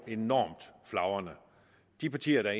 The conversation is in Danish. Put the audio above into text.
er enormt flagrende de partier der